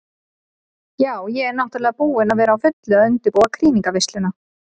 Ja, ég er náttúrulega búin að vera á fullu að undirbúa krýningarveisluna.